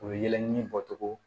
U bɛ yɛlɛ ni bɔcogo